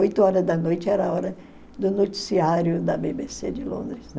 Oito horas da noite era a hora do noticiário da bê bê cê de Londres.